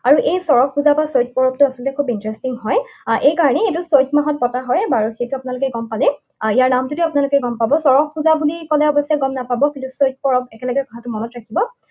আৰু এই চড়ক পূজা বা চৈকড়কটো আচলতে খুব interesting হয়। এইকাৰণেই এইটো চত মাহত পতা হয়। বাৰু সেইটো আপোনালোকে গম পালেই। আৰু ইয়াৰ নামটোতে আপোনালোকে গম পাব। চড়ক পূজা বুলি কলে অৱশ্যে গম নাপাব। কিন্তু চৈত পৰৱ একেলগে কথাটো মনত ৰাখিব।